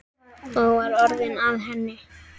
Og var orðið að henni?